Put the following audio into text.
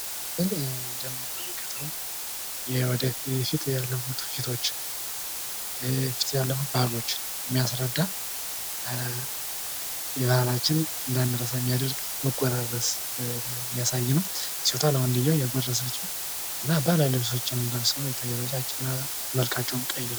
በዚህ ምስል የምንመለከተው ወደፊት ያለፉ ድርጊቶች ወደፊት ያለፉ ባህሎች የሚያስረዳ ይህ ባህላችን እንዳንረሳ የሚያደርግ መጎራረስ የሚያሳይ ነው። ሴቷ ለወንድየው እያጎረሰችው እና ባህላዊ ልብሶችም ለብሰው ይታያሉ። ነጫጭ ልብስ ለብሰው መልካቸውም ቀይ ነው።